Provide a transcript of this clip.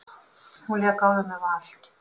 Hún lék áður með Val.